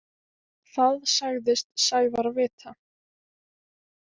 Það sagðist Sævar vita.